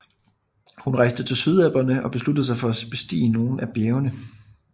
Hun rejste til Sydalperne Og besluttede sig for at bestige nogle af bjergene